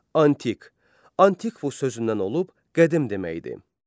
Antik, Antikos sözündən olub qədim deməkdir.